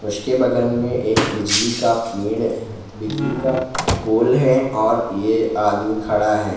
उसके बगल में एक बिजली का पेड़ बिजली का पोल है और ये आदमी खड़ा है।